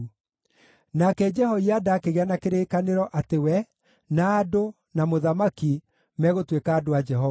Nake Jehoiada akĩgĩa na kĩrĩkanĩro atĩ we, na andũ, na mũthamaki megũtuĩka andũ a Jehova.